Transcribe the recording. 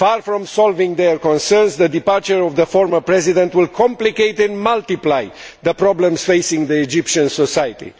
Far from solving their concerns, the departure of the former President will complicate and multiply the problems facing Egyptian society.